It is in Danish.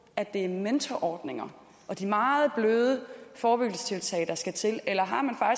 at det er mentorordninger og de meget bløde forebyggelsestiltag der skal til eller